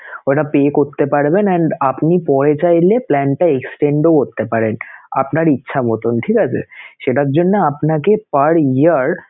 ঐটা pay করতে পারবেন and আপনি পরে চাইলে plan টা extend ও করতে পারেন আপনার ইচ্ছা মতন, ঠিক আছে সেটার জন্যে আপনাকে per year